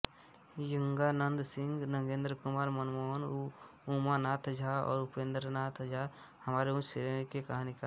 यंगानंद सिंह नगेंद्रकुमार मनमोहन उमानाथ झा और उपेंद्रनाथ झा हमारे उच्च श्रेणी के कहानीकार है